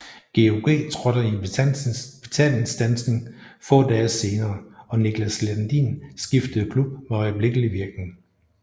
GOG trådte i betalingsstandsning få dage senere og Niklas Landin skiftede klub med øjeblikkelig virkning